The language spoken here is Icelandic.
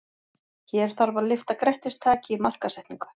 Hér þarf að lyfta grettistaki í markaðssetningu.